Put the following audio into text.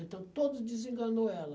Então, todos desenganou ela.